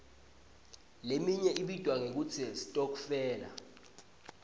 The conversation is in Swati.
leminye ibitwa ngekutsi sitokfela